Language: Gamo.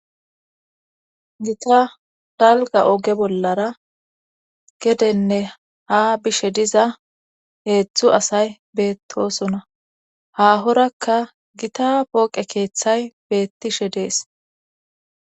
Gita dalga oge bollara gedenne ha bishe diza heetzthu asay beettosona hahorakka gita pooqe keeththay beettishe dees.